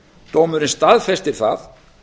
dómurinn staðfestir það